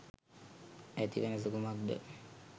ඇති වෙනස කුමක්ද?